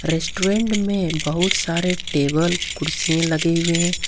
Restaurant में बहुत सारे टेबल कुर्सियां लगे हुए हैं।